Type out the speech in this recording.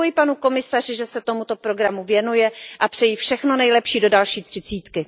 Děkuji panu komisaři, že se tomuto programu věnuje a přeji všechno nejlepší do další třicítky.